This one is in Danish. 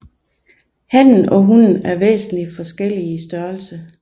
Hannen og hunnen er væsentlig forskellige i størrelse